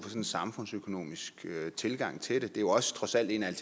en samfundsøkonomisk tilgang til det det er jo også trods alt en af